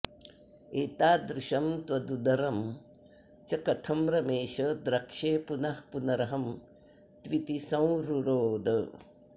एतादृशं त्वदुदरं च कथं रमेश द्रक्ष्ये पुनः पुनरहं त्विति संरुरोद